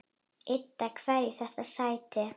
Ida, hverju þetta sætti.